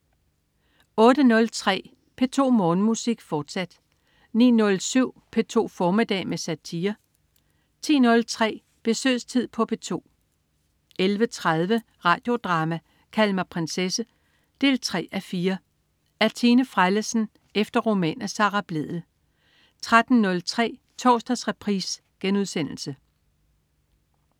08.03 P2 Morgenmusik, fortsat 09.07 P2 formiddag med satire 10.03 Besøgstid på P2 11.30 Radio Drama: Kald mig prinsesse 3:4. Af Tine Frellesen efter roman af Sara Blædel 13.03 Torsdagsreprise*